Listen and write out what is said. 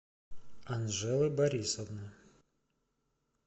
анжелы борисовны